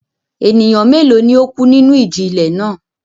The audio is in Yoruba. Ènìyàn mélòó ni ó kú nínú ìjì-ilẹ̀ náà?